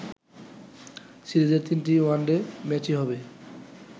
সিরিজের তিনটি ওয়ানডে ম্যাচই হবে